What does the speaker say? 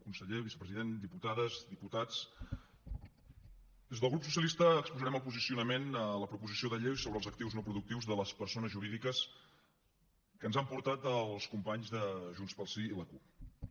conseller vicepresident diputades diputats des del grup socialista exposarem el posicionament a la proposició de llei sobre els actius no productius de les persones jurídiques que ens han portat els companys de junts pel sí i la cup